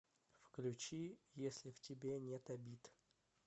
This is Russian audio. включи если в тебе нет обид